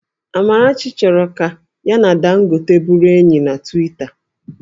Amarachi chọrọ ka ya na Dangote bụrụ enyi na Twita